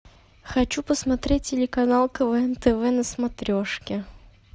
хочу посмотреть телеканал квн тв на смотрешке